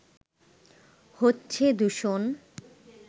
হচ্ছে দূষণ